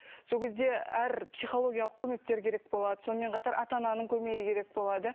сол кезде әр психологиялық көмектер керек болады сонымен қатар ата ананың көмегі керек болады